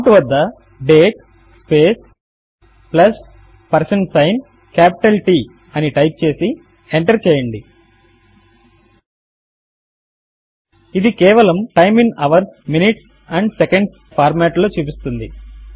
ఇది కేవలము time in hours minutes and seconds hhmmఎస్ఎస్ అనే ఫార్మాట్ లో చూపిస్తుంది